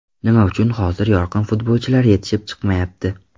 Nima uchun hozir yorqin futbolchilar yetishib chiqmayapti?